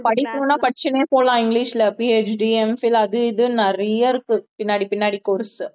படிக்கணும்ன்னா படிச்சுன்னே போலாம் இங்கிலிஷ்ல PHDMphil அது இதுன்னு நிறைய இருக்கு பின்னாடி பின்னாடி course